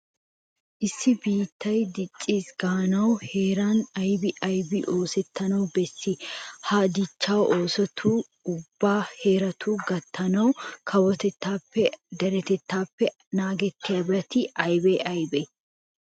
Issi biittay dicciis gaanawu heeran aybi aybi oosettana bessii? Ha dichchaa oosota ubba heeratukko gattanawu kawotettaappenne dere asaappe naagettiyabati aybee aybee?